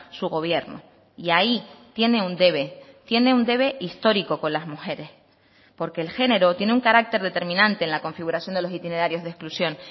su gobierno y ahí tiene un debe tiene un debe histórico con las mujeres porque el género tiene un carácter determinante en la configuración de los itinerarios de exclusión